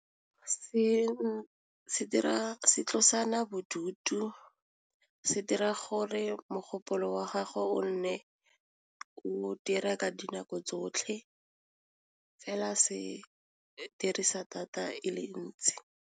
Se dira se tlosana bodutu se dira gore mogopolo wa gagwe o nne o dira ka dinako tsotlhe fela se dirisa data e le ntsi.